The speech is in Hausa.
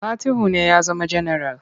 Fatihu ne ya zama janaral.